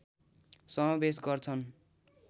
समावेश गर्छन्